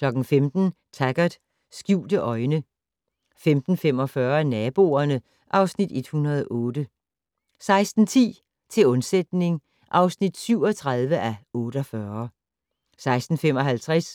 15:00: Taggart: Skjulte øjne 15:45: Naboerne (Afs. 108) 16:10: Til undsætning (37:48) 16:55: